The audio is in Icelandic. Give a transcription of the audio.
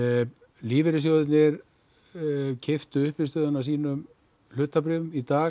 lífeyrissjóðirnir keyptu uppistöðuna af sínum hlutabréfum í dag